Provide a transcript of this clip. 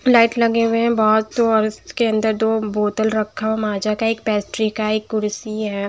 Light लगे हुए हैं बहुत तो और उसके अंदर दो बोतल रखा हैं एक माज़ा का पेट्री का है एक कुर्सी है।